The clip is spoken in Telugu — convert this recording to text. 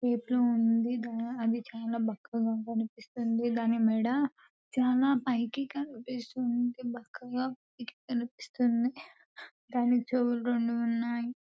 ఉంది అది చాల బక్కగా కనిపిస్తుంది దాని మెడ చాల పైకి కనిపిస్తుంది . బక్కగా దాని చెవులు రెండు ఉన్నాయి.